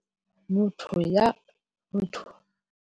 Motho ya.